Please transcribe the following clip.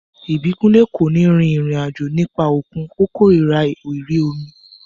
Ìbíkúnlé kò ní rin ìrìn àjò nípa òkun, ó kòrira ìrí omi